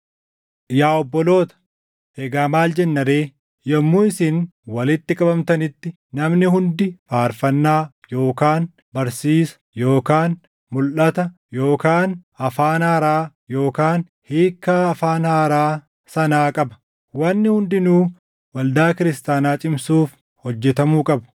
Yaa obboloota, egaa maal jenna ree? Yommuu isin walitti qabamtanitti namni hundi faarfannaa yookaan barsiisa yookaan mulʼata yookaan afaan haaraa yookaan hiikkaa afaan haaraa sanaa qaba. Wanni hundinuu waldaa kiristaanaa cimsuuf hojjetamuu qabu.